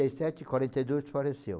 e sete, quarenta e dois faleceu.